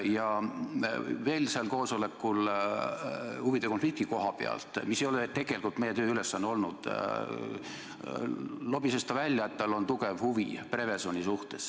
Ja mis veel sellesse koosolekusse puutub, siis huvide konflikti koha pealt, mis ei ole tegelikult meie tööülesanne olnud, lobises ta välja, et tal on tugev huvi seoses Prevezoniga.